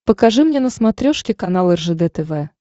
покажи мне на смотрешке канал ржд тв